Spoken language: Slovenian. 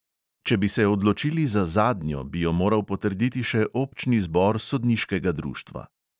Če bi se odločili za zadnjo, bi jo moral potrditi še občni zbor sodniškega društva.